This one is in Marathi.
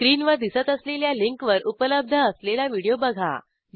स्क्रीनवर दिसत असलेल्या लिंकवर उपलब्ध असलेला व्हिडिओ बघा